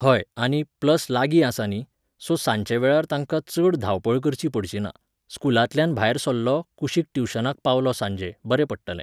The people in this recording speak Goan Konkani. हय आनी, प्लस लागीं आसा न्ही, सो सांचे वेळार ताका चड धांवपळ करची पडची ना, स्कुलांतल्यान भायर सरलो, कुशीक ट्युशनाक पावलो सांजे, बरें पडटलें